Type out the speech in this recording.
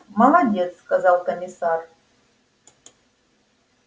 молодец сказал комиссар